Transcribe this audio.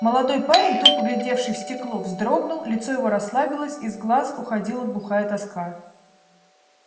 молодой парень тупо глядевший в стекло вздрогнул лицо его расслабилось из глаз уходила глухая тоска